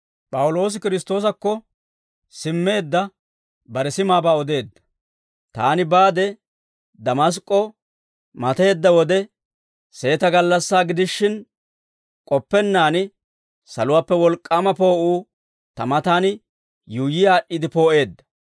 «Taani baade Damask'k'o mateedda wode, seeta gallassaa gidishin, k'oppennaan saluwaappe wolk'k'aama poo'uu ta matan yuuyyi aad'd'iide poo'eedda.